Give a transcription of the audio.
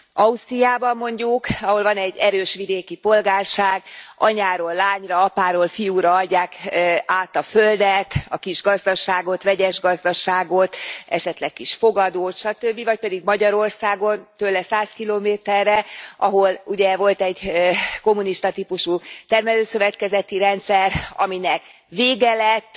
Ausztriában mondjuk, ahol van egy erős vidéki polgárság, anyáról lányra, apáról fiúra adják át a földet, a kis gazdaságot, vegyes gazdaságot, esetleg kis fogadót, satöbbi, vagy pedig Magyarországon, tőle száz kilométerre, ahol ugye volt egy kommunista típusú termelőszövetkezeti rendszer, aminek vége lett,